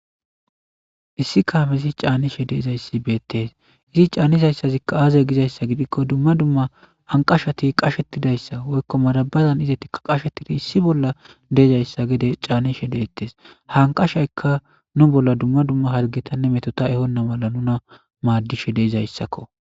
issi kaamezi caanishe de7izayssi beettes izi caannizayssazikka aazey gizayssa gidikko dumma dumma anqashati qashetidayssa woykko marabazan izeti qashetida issi bolla dizayssa gede caanishe deettes ha anqashayka nu bolla dumma dumma hazgetanne metota ehonna mala nuna maaddishe de7izayssakko.